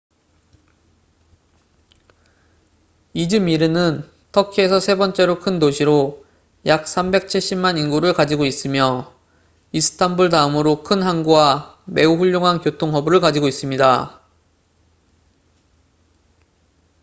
이즈미르는 터키에서 세 번째로 큰 도시로 약 3백 7십만 인구를 가지고 있으며 이스탄불 다음으로 큰 항구와 매우 훌륭한 교통 허브를 가지고 있습니다